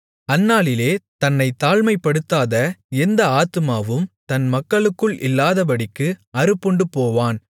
அந்நாளிலே தன்னைத் தாழ்மைப்படுத்தாத எந்த ஆத்துமாவும் தன் மக்களுக்குள் இல்லாதபடிக்கு அறுப்புண்டுபோவான்